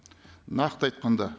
нақты айтқанда